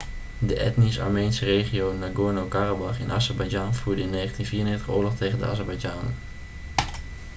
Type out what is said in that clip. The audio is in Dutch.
de etnisch armeense regio nagorno-karabach in azerbeidzjan voerde in 1994 oorlog tegen de azerbeidzjanen